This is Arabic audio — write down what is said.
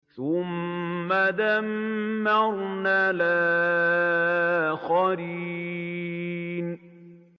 ثُمَّ دَمَّرْنَا الْآخَرِينَ